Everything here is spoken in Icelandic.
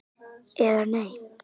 eða Nei?